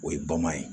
O ye bama ye